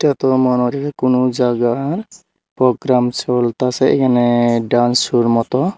এত মনহরি কোনো জাগা রং প্রোগ্রাম চলতাসে এখানে ডান্স সোর মতো।